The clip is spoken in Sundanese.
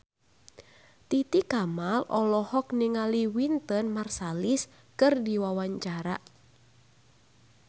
Titi Kamal olohok ningali Wynton Marsalis keur diwawancara